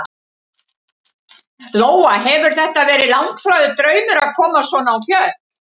Lóa: Hefur þetta verið langþráður draumur að komast svona á fjöll?